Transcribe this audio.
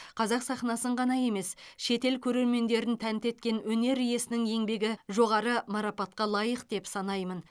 қазақ сахнасын ғана емес шетел көрермендерін тәнті еткен өнер иесінің еңбегі жоғары марапатқа лайық деп санаймын